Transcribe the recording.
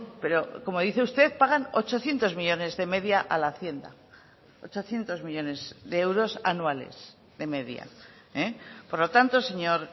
pero como dice usted pagan ochocientos millónes de media a la hacienda ochocientos millónes de euros anuales de media por lo tanto señor